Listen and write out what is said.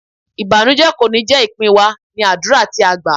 Ìbànújẹ kò ní jé ìpín wa, ní àdúrà tí a gbá.